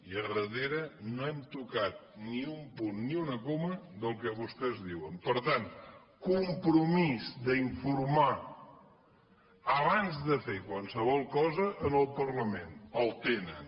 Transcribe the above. i a darrere no hem tocat ni un punt ni una coma del que vostès diuen per tant compromís d’informar abans de fer qualsevol cosa al parlament el tenen